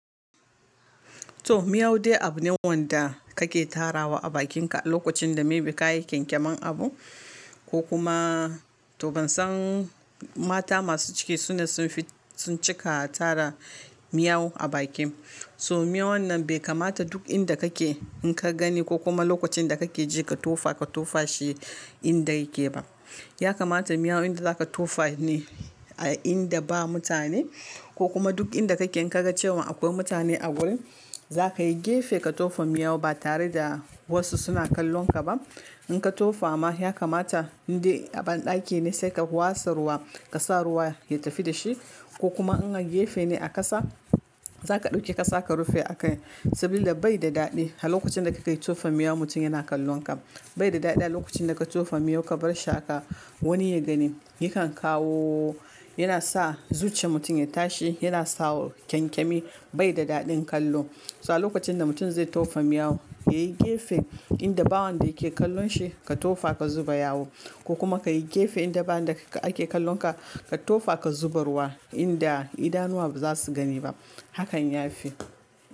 To, miyau dai abu ne wanda kake tarawa a bakinka a lokacin da maybe kayi kyankyamar abu ko kuma to ban san mata masu ciki su na sun cika tara miyau a bakin. So miyau wannan bai kamata duk inda kake in ka gani ko kuma lokacin da kake je ka tofa, ka tofa shi inda yake ba. Ya kamata miyau inda zaka tofa ne a inda ba mutane ko kuma duk inda kake in ka ga cewa akwai mutane a wurin, za kayi gefe ka tofa miyau ba tare da wasu suna kallon ka ba. In ka tofa ma ya kamata dai a banɗaki ne sai ka wasa ruwa ka sa ruwa ya tafi da shi ko kuma in a gefe ne a ƙasa, za ka ɗauki ka sa ka rufe akai saboda bai da daɗi a lokacin da ka kai tofa miyau mutum yana kallon ka. Bai da daɗi a lokacin da ka tofa miyau ka barshi haka wani ya gani, yakan kawo yana sa zuciyar mutum ya tashi, yana sa kyankyami bai da daɗin kallo. So a lokacin da mutum zai tofa miyau, yayi gefe inda bawon da yake kallon shi ka tofa ka zuba yawo ko kuma kayi gefe inda bawon da ake kallon ka ka tofa ka zuba ruwa inda idanuwa za su gani ba. Hakan ya fi.